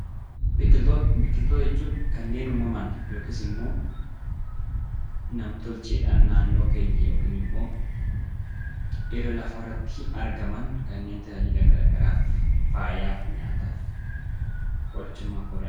Biqiltoota jechuun kanneen uumamaan yookiis immoo nam tolcheedhaan naannoo keenya yookiin immoo irra lafaa irratti argaman kanneen tajaajila gara garaaf faayaaf, nyaataaf, qorichummaaf oolanidha.